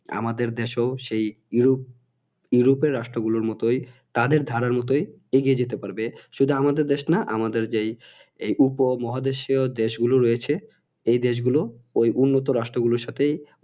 আমাদের দেশেও সেই ইউরোপ ইউরোপএর রাষ্ট্র গুলোর মতোই তাদের ধারার মতোই এগিয়ে যেতে পারবে শুধু আমাদের দেশ না আমাদের যেই এই উপমহাদেশীয় দেশ গুলো রয়েছে এই দেশ গুলো এই উন্নত রাষ্ট্র গুলোর সাথেই